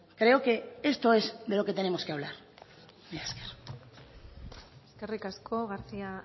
creo que esto es de lo que tenemos que hablar mila esker eskerrik asko garcía